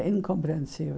É incompreensível.